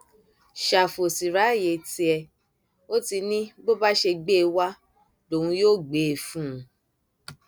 ṣàfù ó sì ráàyè tíẹ ó ti ní bó bá ṣe gbé e wá lòun yóò gbé e fún un